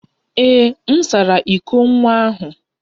Ee, m sara iko nwa ahụ.